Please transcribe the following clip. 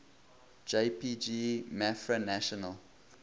jpg mafra national